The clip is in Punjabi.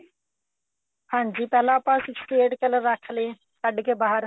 ਹਾਂਜੀ ਪਹਿਲਾਂ ਆਪਾਂ sixty eight color ਰੱਖ ਲੇ ਕੱਡ ਕੇ ਬਾਹਰ